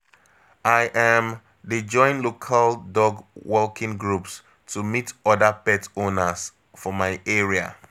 I um dey join local dog walking groups to meet other pet owners for my area.